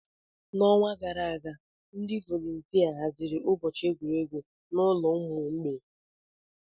N'ọnwa gara aga, ndị volontia haziri ụbọchị egwuregwu n'ụlọ ụmụ mgbei.